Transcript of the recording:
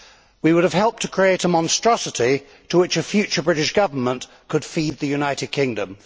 We would have helped to create a monstrosity to which a future British Government could feed the United Kingdom.